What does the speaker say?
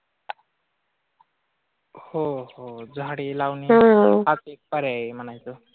हो हो झाडे लावणे हाच एक पर्याय आहे म्हणायचं.